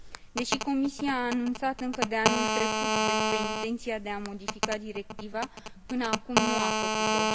Deși Comisia a anunțat încă de anul trecut despre intenția de a modifica directiva, până acum nu a făcut o.